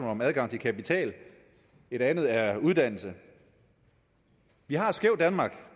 om adgang til kapital og et andet er uddannelse vi har et skævt danmark